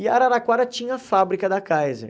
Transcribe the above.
E a Araraquara tinha a fábrica da Kaiser.